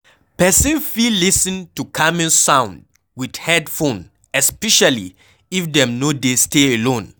Person fit lis ten to calming sound with head phone especially if dem no dey stay alone